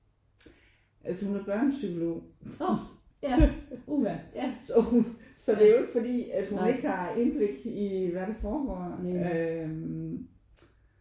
Altså hun er børnepsykolog så hun så det er jo ikke fordi hun ikke har indblik i hvad der foregår øh